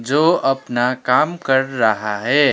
जो अपना काम कर रहा है।